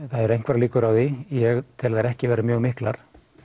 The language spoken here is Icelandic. það eru einhverjar líkur á því ég tel þær ekki vera mjög miklar